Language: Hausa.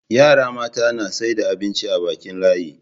yara mata na saida abinci a Bakin layi